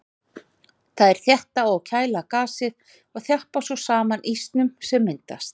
Þær þétta og kæla gasið og þjappa svo saman ísnum sem myndast.